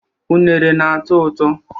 Unere na-atọ ụtọ.